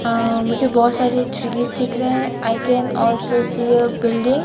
आ मुझे बहोत सारे चीज दिख रहे हैं I can also see a building --